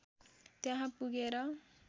त्यहाँ पुगेर